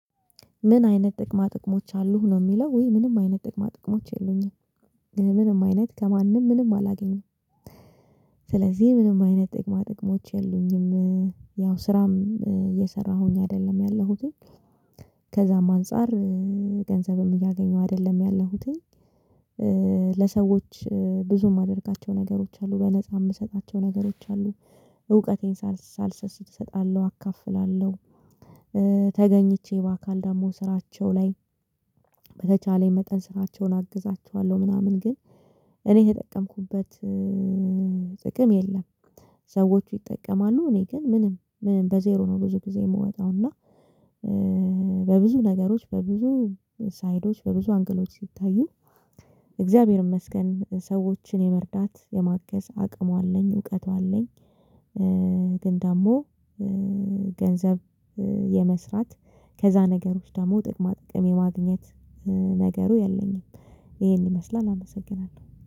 ምን አይነት ጥቅማ ጥቅሞች አሉህ ነው የሚለው ውይ? ምንም አይነት ጥቅማ ጥቅሞች የሉኝም። ምንም አይነት ከማንም ምንም አላገኘም። ስለዚህ ምንም አይነት ጥቅማ ጥቅሞች የሉኝም። ያው ስራም እየሰራሁኝ አይደለም ያለሁትኝ። ከዛም አንፃር ገንዘብም እያገኘሁ አይደለም ያለሁትኝ። ለሰዎች ብዙም ማደርጋቸው ነገሮች አሉ በነፃ የምሰጣቸው ነገሮች አሉ። እውቀቴን ሳልሰስት እሰጣለሁ አካፍላለሁ። ተገኝቼ በአካል ደግሞ ስራቸው ላይ በተቻለኝ መጠን ስራቸውን አግዛቸዋለሁ። ምናምን ግን እኔ የተጠቀምኩበት ጥቅም የለም። ሰዎች ይጠቀማሉ እኔ ግን ምንም ምንም በዜሮ ነው ብዙ ጊዜ የምወጣው እና። በብዙ ነገሮች በብዙ ሳይዶች በብዙ አንግሎች ሲታዩ። እግዚአብሔር ይመስገን ሰዎችን የመርዳት የማገዝ አቅሙ አለኝ እውቀቱ አለኝ። ግን ደግሞ ገንዘብ የመስራት ከዛ ነገሮች ደግሞ ጥቅማ ጥቅም የማግኘት ነገሩ የለኝም። ይሄን ይመስላል አመሰግናለሁ